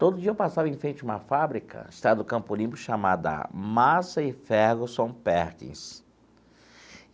Todo dia eu passava em frente a uma fábrica, que estava no Campo Limpo, chamada Massey Ferguson Perkins.